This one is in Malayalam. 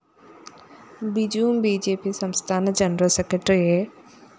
ബിജുവും ബി ജെ പി സംസ്ഥാന ജനറൽ സെക്രട്ടറി എ